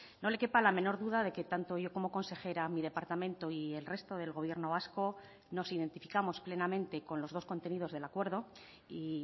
no le quepa la menor duda de que tanto yo como consejera mi departamento y el resto del gobierno vasco nos identificamos plenamente con los dos contenidos del acuerdo y